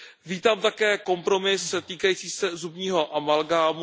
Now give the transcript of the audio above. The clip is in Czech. Vítám také kompromis týkající se zubního amalgámu.